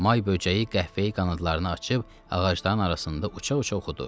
May böcəyi qəhvəyi qanadlarını açıb ağacların arasında uça-uça oxudu.